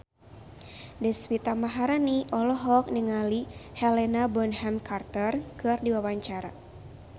Deswita Maharani olohok ningali Helena Bonham Carter keur diwawancara